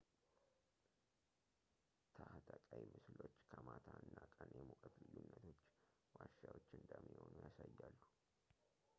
ታህተቀይ ምስሎች ከማታ እና ቀን የሙቀት ልዩነቶቹ ዋሻዎች እንደሚሆኑ ያሳያሉ